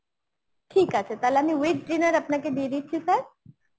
ঠিক আছে তাহলে আমি with dinner আপনাকে দিয়ে দিচ্ছি sir